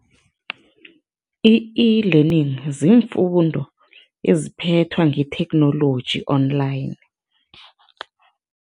I-eLearning ziimfundo eziphethwa ngetheknoloji online.